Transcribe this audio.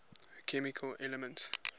chemical elements